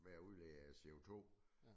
Med at udlede CO2